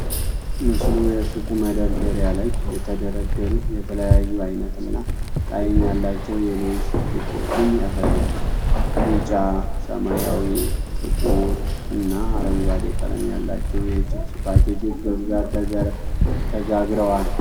ምስሉ የሱቅ መደርደሪያ ላይ የተደረደሩ የተለያዩ አይነት እና ጣዕም ያላቸው የሌይስ (Lay's) ቺፖችን ያሳያል፡፡ ቢጫ፣ ሰማያዊ፣ ጥቁር እና አረንጓዴ ቀለም ያላቸው የቺፕስ ፓኬጆች በብዛት ተጋግረዋል።